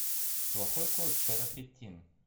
плохой кот шерафеттин